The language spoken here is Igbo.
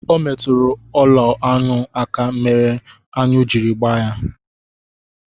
Ọ metụrụ ụlọ̣anụ aka, nke mere aṅụ jiri gbaa ya